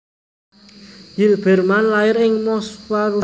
Zilberman lair ing Moskwa Rusia